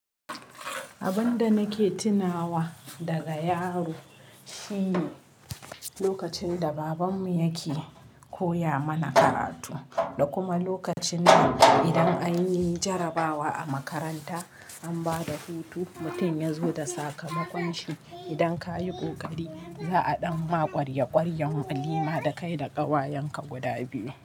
Abun da nake tunawa daga yaro shine lokacin da babanmu yake koya mana karatu, da kuma lokacin da idan anyi jarabawa a makaranta an bada hutu, mutum ya zo da sakamakon shi. Idan ka yi ƙoƙari, za a ɗan ma ƙwarye ƙwaryan walima da kai da ƙawayenka guda biyu.